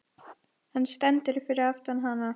Hann stendur fyrir aftan hana.